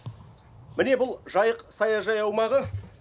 міне бұл жайық саяжай аумағы